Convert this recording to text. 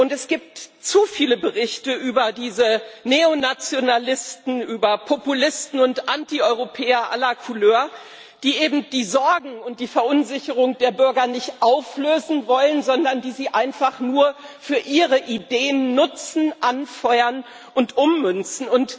Es gibt zu viele Berichte über diese Neonationalisten, über Populisten und Antieuropäer aller Couleur, die eben die Sorgen und die Verunsicherung der Bürger nicht auflösen wollen, sondern die sie einfach nur für ihre Ideen nutzen, anfeuern und ummünzen.